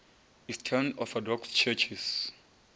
eastern orthodox churches